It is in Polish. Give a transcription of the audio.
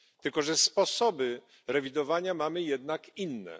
Tylko że sposoby rewidowania mamy jednak inne.